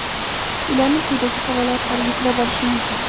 Ularni quyidagi havola orqali yuklab olish mumkin.